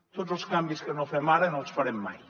tots els canvis que no fem ara no els farem mai